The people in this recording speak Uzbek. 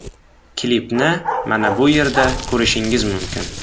Klipni mana bu yerda ko‘rishingiz mumkin.